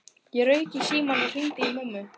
Ég rauk í símann og hringdi í mömmu.